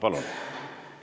Palun!